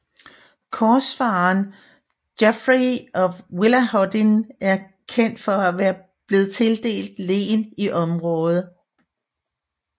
Korsfareren Geoffrey af Villehardouin er kendt for at være blevet tildelt len i området